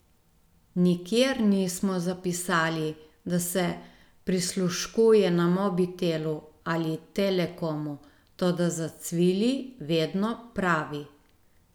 Nikjer nismo zapisali, da se prisluškuje na Mobitelu ali Telekomu, toda zacvili vedno pravi.